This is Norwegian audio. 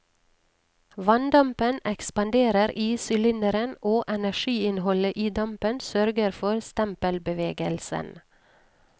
Vanndampen ekspanderer i sylinderen og energiinnholdet i dampen sørger for stempelbevegelsen.